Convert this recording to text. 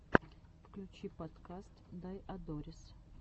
включи подкаст дайодорис